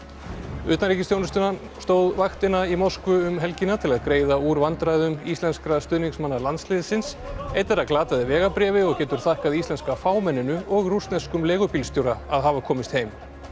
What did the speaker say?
utanríkisþjónustan stóð vaktina í Moskvu um helgina til að greiða úr vandræðum íslenskra stuðningsmanna landsliðsins einn þeirra glataði vegabréfi og getur þakkað íslenska fámenninu og rússneskum leigubílstjóra að hafa komist heim